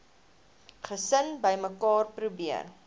gesin bymekaar probeer